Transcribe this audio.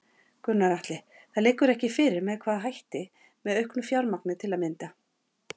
Gunnar Atli: Það liggur ekki fyrir með hvaða hætti, með auknu fjármagn til að mynda?